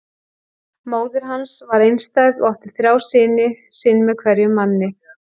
Móðir hans var einstæð og átti þrjá syni, sinn með hverjum manni.